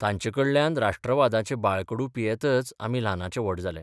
तांचेकडल्यान राष्ट्रवादाचें बाळकडू पियेतच आमी ल्हानाचे व्हड जाले.